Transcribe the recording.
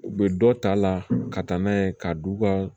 U bɛ dɔ ta a la ka taa n'a ye ka d'u ka